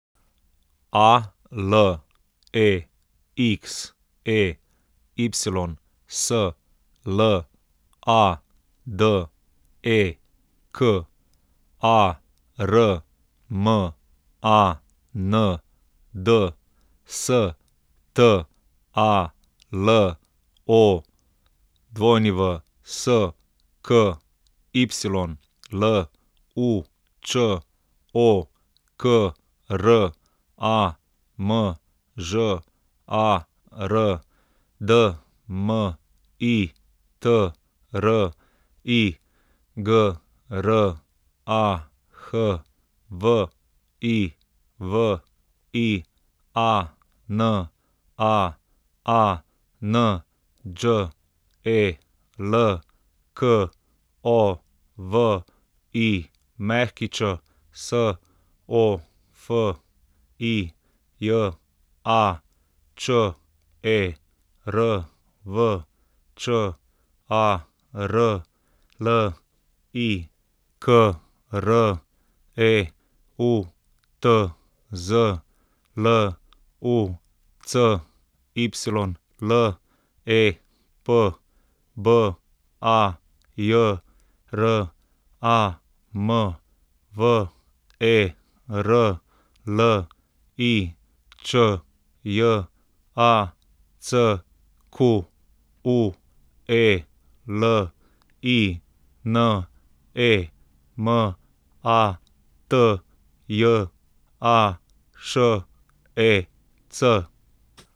Alexey Sladek, Armand Stalowsky, Lučo Kramžar, Dmitri Grah, Viviana Anđelković, Sofija Červ, Čarli Kreutz, Lucy Lep, Bajram Verlič, Jacqueline Matjašec.